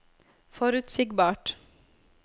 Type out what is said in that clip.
forutsigbart